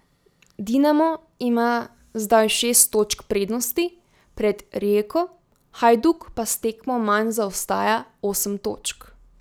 Dinamo ima zdaj šest točk prednosti pred Rijeko, Hajduk pa s tekmo manj zaostaja osem točk.